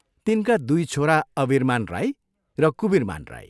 तिनका दुइ छोरा अवीरमान राई र कुवीरमान राई।